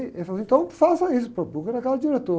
Ele falou assim, então faça isso pô, procura cada diretor.